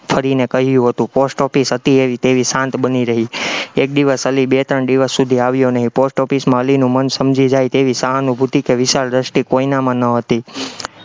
ફરીને કહ્યું હતું, post office હતી તેવી શાંત બની રહી, એક દિવસ અલી બે ત્રણ દિવસ સુધી આવ્યો નહીં, post office માં અલીનું મન સમજી જાય તેવી સહાનુભૂતિ કે વિશાળ દ્રષ્ટિ કોઈનામાં ન હતી